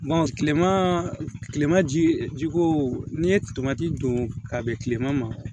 tilema kilema ji ko n'i ye tomati don ka bɛn kilema ma